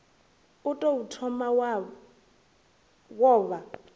u tou thoma wo vha